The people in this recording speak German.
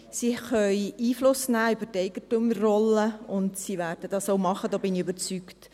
Die Regierung kann Einfluss nehmen über die Eigentümerrolle, und sie wird dies auch tun, davon bin ich überzeugt.